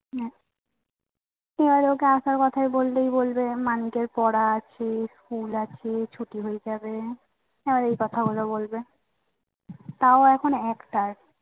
উনাদেরকে আসার কথা বললেই বলবে মানিকের পড়া আছে school আছে ছুটি হয়ে যাবে খালি এই কথা গুলা বলবে তও এখন একটায়